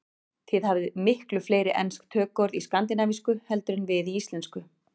Þið hafið miklu fleiri ensk tökuorð í skandinavísku heldur en við í íslensku.